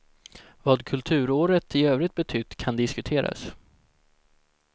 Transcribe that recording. Vad kulturåret i övrigt betytt kan diskuteras.